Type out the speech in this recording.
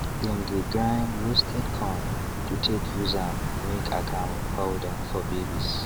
them dey grind roasted corn to take use am make akamu powder for babies